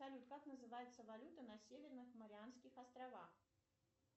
салют как называется валюта на северных марианских островах